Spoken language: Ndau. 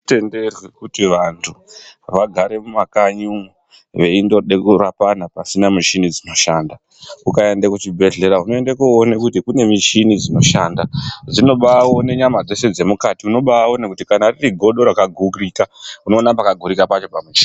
Hazvitendedzwi kuti vantu vagare mumakanyi umwu veindode kurapana pasina michini dzinoshanda. Ukaende kuchibhehlera unoinde koone kuti kune michini dzinoshanda dzinobaaone nyama dzese dzemukati, unobaaone kuti kana ririgodo rakagurika, unoona pakagurika pacho pamuchini.